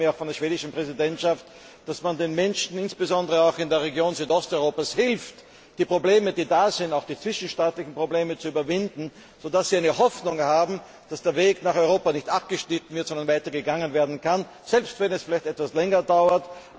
Ich erwarte mir von der schwedischen Präsidentschaft, dass man den Menschen insbesondere auch in Südosteuropa hilft, die Probleme, die da sind auch die zwischenstaatlichen Probleme zu überwinden, sodass sie Hoffnung haben, dass der Weg nach Europa nicht abgeschnitten wird, sondern fortgesetzt werden kann, selbst wenn es vielleicht etwas länger dauert.